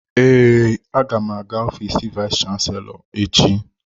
Ee, aga m aga ofiisi vayis chansilọ echi.